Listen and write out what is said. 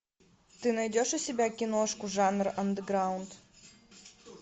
ты найдешь у себя киношку жанр андеграунд